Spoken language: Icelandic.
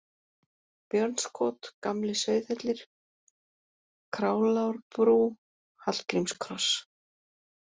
Björnskot, Gamli-Sauðhellir, Králárbrú, Hallgrímskross